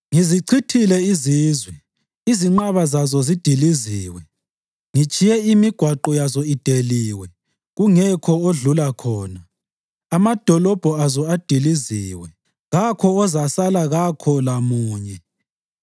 “Ngizichithile izizwe; izinqaba zazo zidiliziwe. Ngitshiye imigwaqo yazo ideliwe kungekho odlula khona. Amadolobho azo adiliziwe; kakho ozasala kakho lamunye.